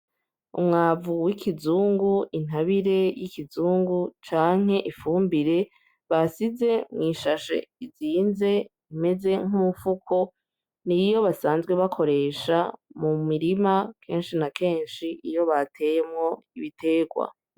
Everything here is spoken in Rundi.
Umwavu w'ikizungu, intabire y'ikizungu canke ifumbire basize mw'ishashe izinze imeze nk'umufuko, niyo basanzwe bakoresha mu mirima kenshi na kenshi iyo bateyemwo ibitegwa.